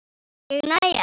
Ég næ ekki.